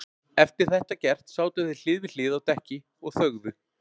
Eftir þetta gert sátu þeir hlið við hlið á dekki og þögðu.